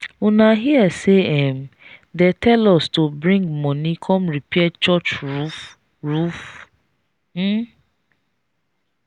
una hear say um they tell us to bring money come repair church roof roof? um